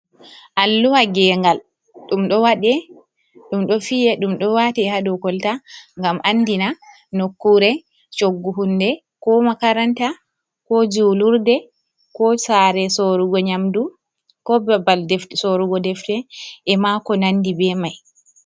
Alluwa Gengal. Ɗum Ɗo Waɗe Ɗum Ɗo Fiye Ɗum Ɗo Wate Ha Ɗokolta Gam Anɗina Nokkure Cuggu Hunɗe Ko Makaranta Ko Julurɗe Ko Sare Sorugo Nyamɗu. Ko Ɓaɓɓal Sorugo Ɗefte E Ma Ko Nanɗi Ɓe Mai.